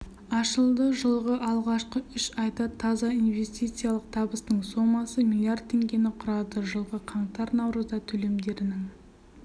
ашылды жылғы алғашқы үш айда таза инвестициялық табыстың сомасы млрд теңгені құрады жылғы қаңтар-наурызда төлемдерінің